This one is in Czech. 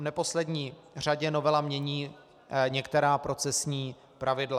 V neposlední řadě novela mění některá procesní pravidla.